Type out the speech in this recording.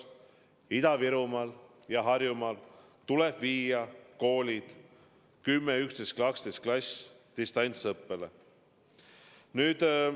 Ida-Virumaal ja Harjumaal tuleb viia koolide 10., 11., 12. klass distantsõppele.